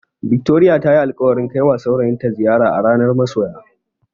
Victoria tayi alƙawarin kaiwa saurayinta ziyara a ranar masoya.